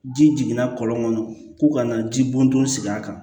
Ji jiginna kɔlɔn kɔnɔ ko ka na ji bɔn don sigi a kan